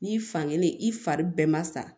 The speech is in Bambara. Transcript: N'i fankelen i fari bɛɛ ma sa